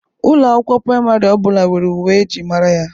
Ụlọ akwụkwọ praịmarị ọ bụla nwere uwe e ji mara ya.